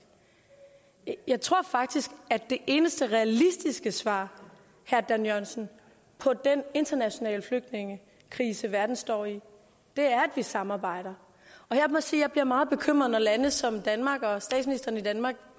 jeg tror faktisk at det eneste realistiske svar herre dan jørgensen på den internationale flygtningekrise verden står i er at vi samarbejder og jeg må sige at jeg bliver meget bekymret når lande som danmark og statsministeren i danmark